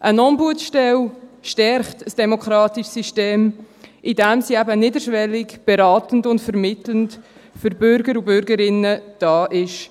Eine Ombudsstelle stärkt ein demokratisches System, indem sie eben niederschwellig beratend und vermittelnd für Bürger und Bürgerinnen da ist.